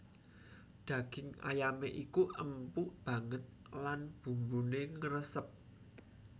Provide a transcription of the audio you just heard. Daging ayamé iku empuk banget lan bumbuné ngresep